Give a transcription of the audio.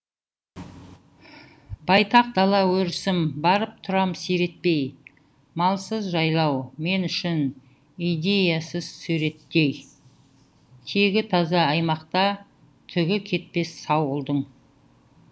байтақ дала өрісім барып тұрам сиретпей малсыз жайлау мен үшін идеясыз суреттей тегі таза аймақта түгі кетпес сау ұлдың